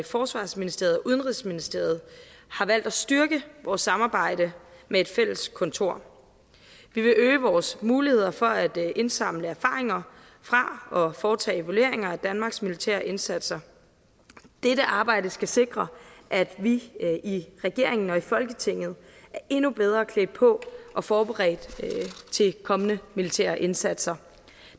forsvarsministeriet og udenrigsministeriet har valgt at styrke vores samarbejde med et fælles kontor vi vil øge vores muligheder for at indsamle erfaringer fra og foretage evalueringer af danmarks militære indsatser dette arbejde skal sikre at vi i regeringen og i folketinget er endnu bedre klædt på og forberedt til kommende militære indsatser